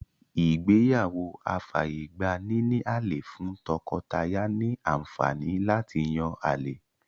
Ìgbéyàwó afàyègba-níní-àlè fún tọkọ-taya ní àǹfàní láti yán àlè.